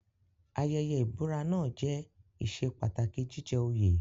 Ayẹyẹ ìbúra náà jẹ́ ìṣe pàtàkì jíjẹ òye.